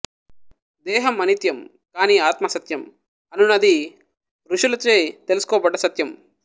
దేహం అనిత్యం కాని ఆత్మ సత్యం అనునది ఋషులచే తెలుసుకోబడ్డ సత్యం